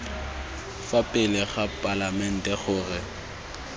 fa pele ga palamente gore